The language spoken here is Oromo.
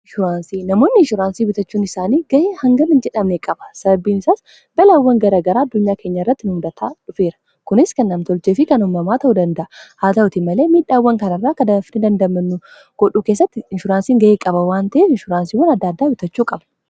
nshuraansii namoonni inshuraansii bitachuun isaanii ga'ee hangani jedhamne qaba sababbiin isaas balaawwan garagaraa addunyaa keenya irratti nufudataa dhufeera kunis kan namtoljee fi kanumamaa ta'uu danda'a haa ta'uti malee miidhaawwan kanarraa kadaafni dandamannu godhuu keessatti inshuraansiin ga'ee qaba waanta'e inshuraansiiwwan adda addaa bitachuu qaba